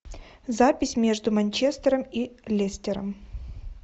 запись между манчестером и лестером